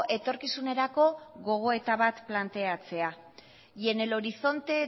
etorkizunerako gogoeta bat planteatzea y en el horizonte